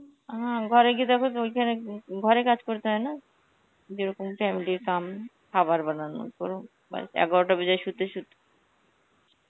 হম ঘরে গিয়ে দেখো ওইখানে উম ঘরে কাজ করতে হয় না যেরকম family র Hindi, খাবার বানানো এগারোটা বেজে যায় শুতে.